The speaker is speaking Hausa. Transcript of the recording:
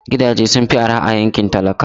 Gidaje sun fi araha a yankin talakawa